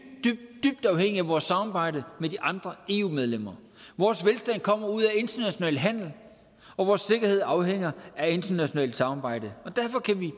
dybt afhængige af vores samarbejde med de andre eu medlemmer vores velstand kommer ud af international handel og vores sikkerhed afhænger af internationalt samarbejde derfor kan vi